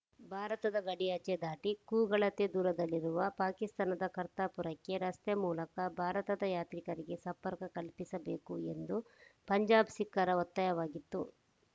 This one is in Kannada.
ಭಾರತದ ಗಡಿಯಾಚೆ ದಾಟಿ ಕೂಗಳತೆ ದೂರದಲ್ಲಿ ಇರುವ ಪಾಕಿಸ್ತಾನದ ಕರ್ತಾ ಪುರಕ್ಕೆ ರಸ್ತೆ ಮೂಲಕ ಭಾರತದ ಯಾತ್ರಿಕರಿಗೆ ಸಂಪರ್ಕ ಕಲ್ಪಿಸಬೇಕು ಎಂದು ಪಂಜಾಬ್‌ ಸಿಖ್ಖರ ಒತ್ತಾಯವಾಗಿತ್ತು